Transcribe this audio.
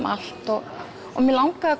allt og mig langaði